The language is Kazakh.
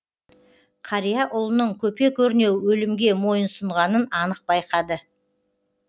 қария ұлының көпе көрнеу өлімге мойынсұнғанын анық байқады